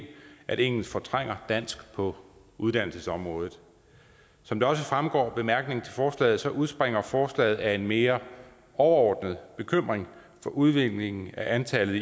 at engelsk fortrænger dansk på uddannelsesområdet som det også fremgår af bemærkningerne til forslaget udspringer forslaget af en mere overordnet bekymring for udviklingen i antallet